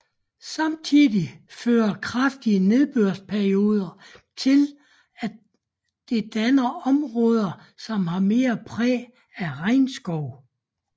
Samtidig fører kraftige nedbørsperioder til at det danne områder som har mere præg af regnskov